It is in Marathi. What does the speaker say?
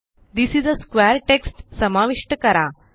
this is a square text समाविष्ट करा